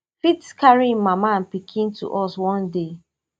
fit carri im mama and pikin to us one day